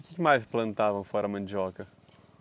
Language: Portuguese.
O que mais plantavam fora a mandioca?